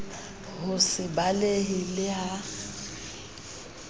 ho se balehe le ha